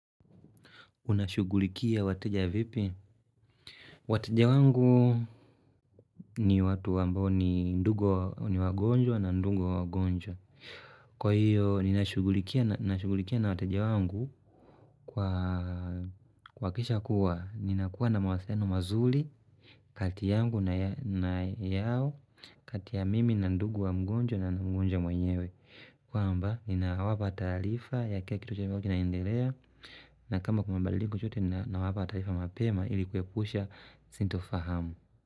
Unashughulikia wateja vipi? Wateja wangu ni watu ambao ni ndugu niwagonjwa na ndugu wa wagonjwa. Kwa hiyo, ninashughulikia na wateja wangu, kuhakisha kuwa. Ninakuwa na mawasiliano mazuri, kati yangu na yao, kati ya mimi na ndugu wa mgonjwa na mgonjwa mwenyewe. Kwamba, ninawapa taarifa ya kila kitu ambacho kitakuwa kinaendelea, na kama kuna mabadliko chochote, ninawapa taarifa mapema, ili kuepusha, sintofahamu.